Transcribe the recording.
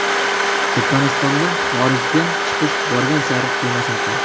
Turkmanistonda xorijga chiqish borgan sari qiyinlashmoqda.